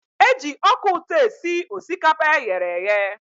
E ji ọka ụtọ esi osikapa eghere eghe.